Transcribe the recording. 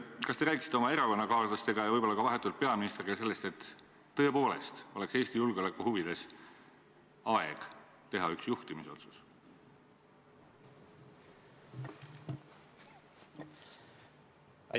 Kas te räägiksite oma erakonnakaaslastega ja võib-olla ka vahetult peaministriga sellest, et tõepoolest oleks Eesti julgeoleku huvides aeg teha üks juhtimisotsus?